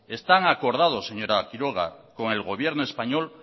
están acordados señora quiroga con el gobierno español